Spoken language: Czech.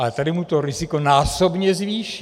Ale tady mu to riziko násobně zvýší.